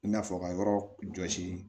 I n'a fɔ ka yɔrɔ jɔsi